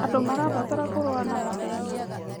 Andũ marabatara kũrũa na mathĩna.